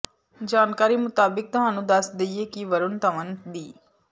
ਜਾਣਕਾਰੀ ਮੁਤਾਬਿਕ ਤੁਹਾਨੂੰ ਦੱਸ ਦੇਈਏ ਕਿ ਵਰੁਣ ਧਵਨ ਦੀ